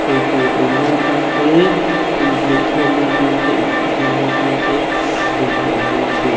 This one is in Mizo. ei tur ei na atan tee in hmuh khawmna tan te in tih hlimna tan te a hmun hi an hmang thin.